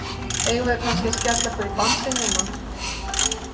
Eigum við kannski að skella okkur í dansinn núna?